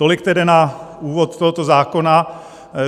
Tolik tedy na úvod tohoto zákona.